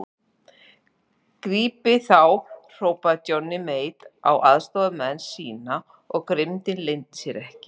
Grípið þá hrópaði Johnny Mate á aðstoðarmenn sína og grimmdin leyndi sér ekki.